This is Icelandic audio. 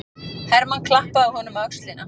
Hermann klappaði honum á öxlina.